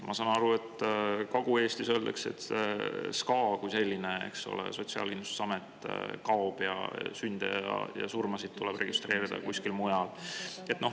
Ma saan aru, et Kagu-Eestist SKA kui selline, Sotsiaalkindlustusamet, kaob, ning sünde ja surmasid tuleb registreerima hakata kuskil mujal.